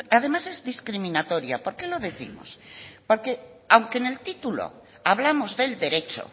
además es discriminatoria por qué lo décimos porque aunque en el título hablamos del derecho